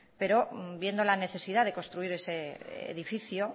pero viendo la necesidad de construir ese edificio